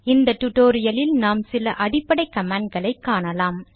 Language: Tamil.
இந்த டுடோரியலில் நாம் சில அடிப்படை கமாண்ட்களை காணலாம்